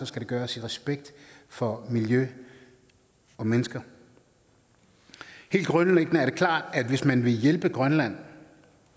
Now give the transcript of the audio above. skal det gøres i respekt for miljø og mennesker helt grundlæggende er det klart at hvis man vil hjælpe grønland